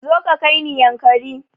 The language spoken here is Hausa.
Zo ka kaini yankari